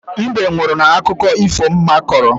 Mbe nwụrụ n'akụkọ ifo mma kọrọ.